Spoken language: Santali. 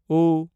ᱩ